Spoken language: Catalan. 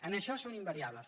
en això són invariables